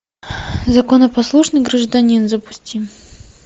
законопослушный гражданин запусти